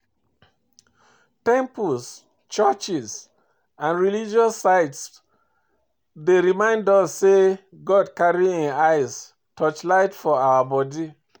Temples, churches and religious sites dey remind us sey God carry im eyes touchlight for our body